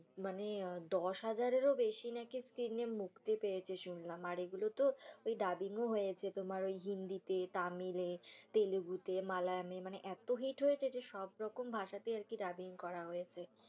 মানে দশ হাজারেরও বেশি নাকি screen এ মুক্তি পেয়েছে শুনলাম আর এইগুলো তো অই ডাবিং ও হয়েছে তোমার ঐ হিন্দিতে, তামিলে এ, তেলেগুতে, মালায়ামে এ মানে এতো হিট হয়েছে যে সব রকম ভাষাতে আরকি ডাবিং করা হয়েছে